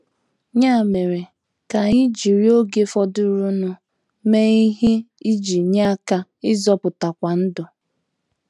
Ya mere ka anyị jiri oge fọdụrụnụ mee ihe iji nye aka ịzọpụtakwu ndụ.